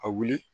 A wuli